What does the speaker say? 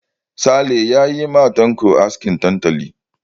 Sale ya yi ma Tanko askin tantali.